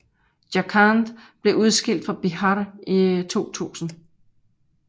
Jharkhand blev udskilt fra Bihar i 2000